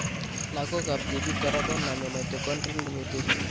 Lagok ab tibik kora konome mitochondrial mutation